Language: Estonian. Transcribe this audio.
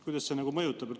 Kuidas see mõjub?